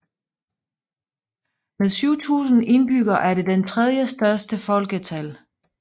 Med 7000 indbyggere er det den tredje største i folketal